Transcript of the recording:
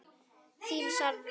Þín Sara Rós.